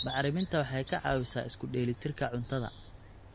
Bacriminta waxay ka caawisaa isku dheelli tirka cuntada.